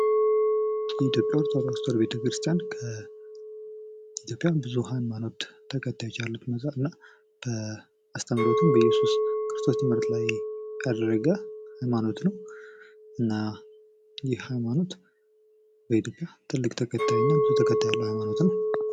የኢትዮጵያ ኦርቶዶክ ሀማኖት በኢትዮጵያ በጣም ብዚ ተከታዮች ካሉት ሀይማኖት ዉስጥ አንዱ ሲሆን አስተምሮቱም በኢየሱስ ትምህርት ላይ የተመሰረተ ነው።